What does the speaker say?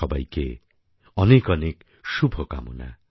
সবাইকে অনেকঅনেক শুভকামনা